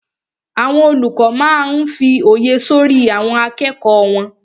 Àwọn olùkọ́ máa n fí òye sọ́rí àwọn akẹ́kọ̀ọ́ náà